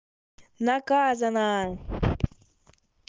наказана